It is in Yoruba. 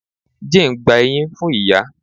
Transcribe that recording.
Jane gba eyin fun iya